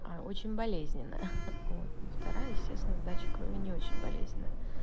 очень болезненная вот вторая естественно сдача крови не очень болезненно